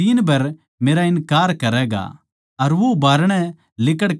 अर वो बारणै लिकड़कै नै फूटफूट कै रोण लाग्या